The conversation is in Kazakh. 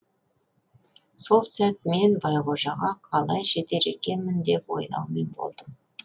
сол сәт мен байқожаға қалай жетер екенмін деп ойлаумен болдым